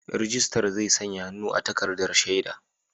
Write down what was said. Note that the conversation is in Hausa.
Rijistar zai sanya hannu a takardar shaida.